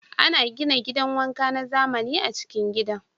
Ana gina gidan wanka na zamani a'cikin gidan.